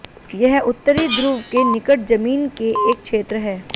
यह उत्तरी ध्रुव के निकट जमीन के एक क्षेत्र है